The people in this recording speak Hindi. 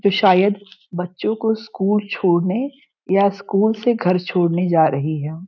जो शायद बच्चो को स्कूल छोड़ने या स्कूल से घर छोड़ने जा रही है।